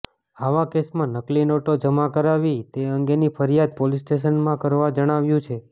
આવા કેસમાં નકલી નોટો જમા કરાવી તે અંગેની ફરિયાદ પોલીસ સ્ટેશનમાં કરવા જણાવાયું છે